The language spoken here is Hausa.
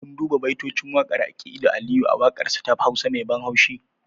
Kun duba baitocin waƙar aƙilu aliyu a waƙarsa ta hausa me ban haushi?